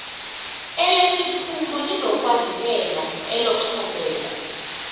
elesiphumo linokwandulela eloxhomekeko